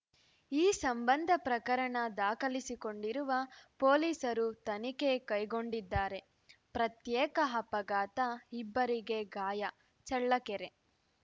ಈ ಸಂಬಂಧ ಪ್ರಕರಣ ದಾಖಲಿಸಿಕೊಂಡಿರುವ ಪೊಲೀಸರು ತನಿಖೆ ಕೈಗೊಂಡಿದ್ದಾರೆ ಪ್ರತ್ಯೇಕ ಅಪಘಾತ ಇಬ್ಬರಿಗೆ ಗಾಯ ಚಳ್ಳಕೆರೆ